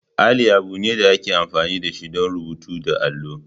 Alli abu ne da ake amfani da shi don rubutu da allo.